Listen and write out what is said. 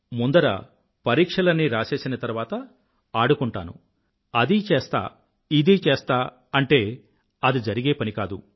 ముందర పరీక్షలన్నీ రాసేసి తర్వాత ఆడుకుంటాను అది చేస్తా ఇది చేస్తా అంటే అది జరిగే పని కాదు